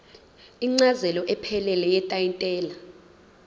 incazelo ephelele yetayitela